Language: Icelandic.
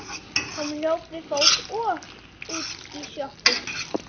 Hann hljóp við fót og út í sjoppu.